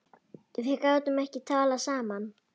Við gátum ekki talað saman.